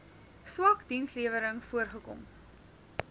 swak dienslewering voorgekom